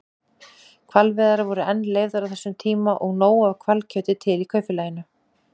Hvalveiðar voru enn leyfðar á þessum tíma og nóg af hvalkjöti til í Kaupfélaginu.